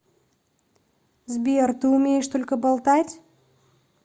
сбер ты умеешь только болтать